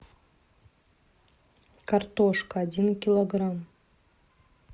картошка один килограмм